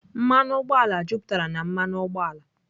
Mmanụ ụgbọala juputara na mmanụ ụgbọala.